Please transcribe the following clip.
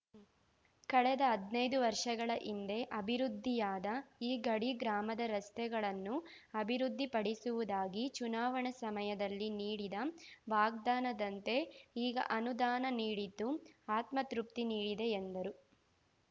ಕಳೆದ ಹದ್ನೈದು ವರ್ಷಗಳ ಹಿಂದೆ ಅಭಿವೃದ್ಧಿಯಾದ ಈ ಗಡಿ ಗ್ರಾಮದ ರಸ್ತೆಗಳನ್ನು ಅಭಿವೃದ್ಧಿಪಡಿಸುವುದಾಗಿ ಚುನಾವಣಾ ಸಮಯದಲ್ಲಿ ನೀಡಿದ ವಾಗ್ದಾನದಂತೆ ಈಗ ಅನುದಾನ ನೀಡಿದ್ದು ಆತ್ಮತೃಪ್ತಿ ನೀಡಿದೆ ಎಂದರು